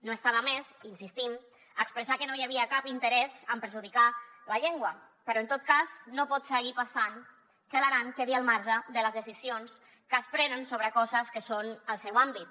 no està de més hi insistim expressar que no hi havia cap interès en perjudicar la llengua però en tot cas no pot seguir passant que l’aran quedi al marge de les decisions que es prenen sobre coses que són del seu àmbit